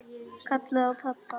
Kallaði á pabba.